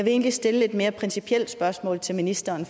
egentlig stille et mere principielt spørgsmål til ministeren